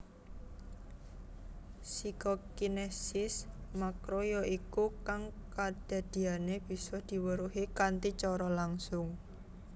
Psikokines makroyaiku kang kadadiané bisa diweruhi kanthi cara langsung